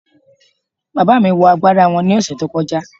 Bàbá mi wọ agbádá wọn ní ọ̀sẹ̀ tó kọjá